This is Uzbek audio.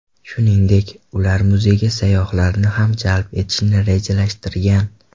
Shuningdek, ular muzeyga sayyohlarni ham jalb etishni rejalashtirgan.